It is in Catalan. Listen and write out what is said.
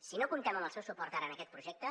si no comptem amb el seu suport ara en aquest projecte